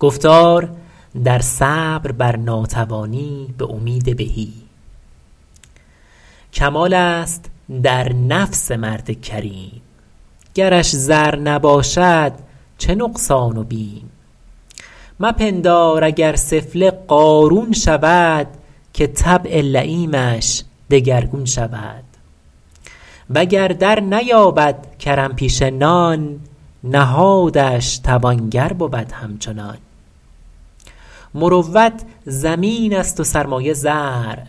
کمال است در نفس مرد کریم گرش زر نباشد چه نقصان و بیم مپندار اگر سفله قارون شود که طبع لییمش دگرگون شود وگر درنیابد کرم پیشه نان نهادش توانگر بود همچنان مروت زمین است و سرمایه زرع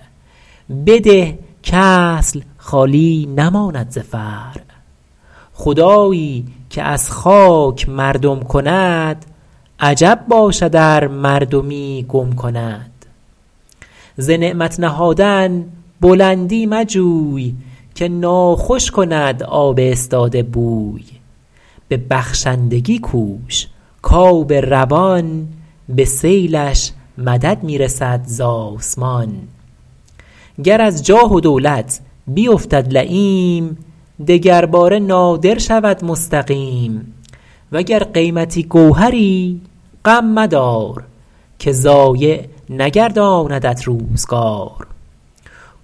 بده کاصل خالی نماند ز فرع خدایی که از خاک مردم کند عجب باشد ار مردمی گم کند ز نعمت نهادن بلندی مجوی که ناخوش کند آب استاده بوی به بخشندگی کوش کآب روان به سیلش مدد می رسد ز آسمان گر از جاه و دولت بیفتد لییم دگر باره نادر شود مستقیم وگر قیمتی گوهری غم مدار که ضایع نگرداندت روزگار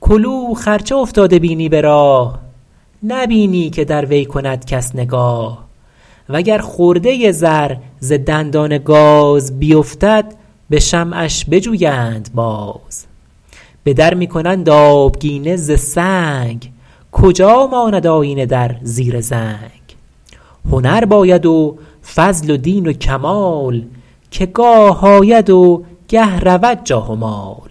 کلوخ ار چه افتاده بینی به راه نبینی که در وی کند کس نگاه و گر خرده زر ز دندان گاز بیفتد به شمعش بجویند باز به در می کنند آبگینه ز سنگ کجا ماند آیینه در زیر زنگ هنر باید و فضل و دین و کمال که گاه آید و گه رود جاه و مال